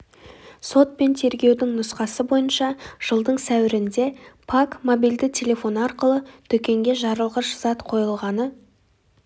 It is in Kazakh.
сот пен тергеудің нұсқасы бойынша жылдың сәуірінде пак мобильді телефоны арқылы дүкенге жарылғыш зат қойылғаны